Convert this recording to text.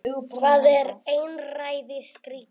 Hvað er einræðisríki?